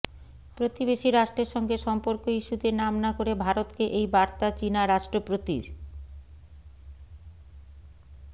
প্রতিবেশী রাষ্ট্রের সঙ্গে সম্পর্ক ইস্যুতে নাম না করে ভারতকে এই বার্তা চিনা রাষ্ট্রপতির